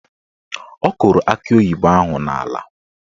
Ọ kụrụ akị oyibo ahụ n'ala